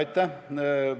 Aitäh!